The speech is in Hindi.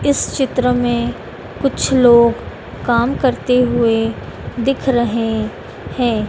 इस चित्र में कुछ लोग काम करते हुए दिख रहे हैं।